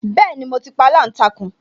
Bẹẹni, mo ti pa aláǹtakùn